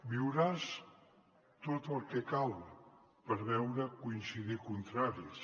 viuràs tot el que cal per veure coincidir contraris